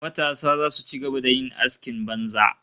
Matasa zasu ci gaba da yin askin banza